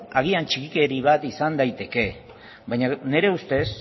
agian txikikeri bat izan daiteke baina nire ustez